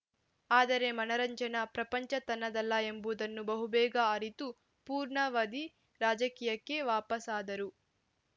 ಆದರೆ ಮನರಂಜನಾ ಪ್ರಪಂಚ ತನ್ನದಲ್ಲ ಎಂಬುದನ್ನು ಬಹುಬೇಗ ಅರಿತು ಪೂರ್ಣಾವಧಿ ರಾಜಕೀಯಕ್ಕೆ ವಾಪಸಾದರು